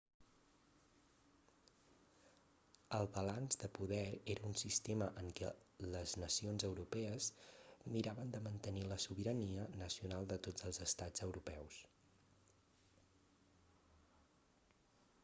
el balanç de poder era un sistema en què les nacions europees miraven de mantenir la sobirania nacional de tots els estats europeus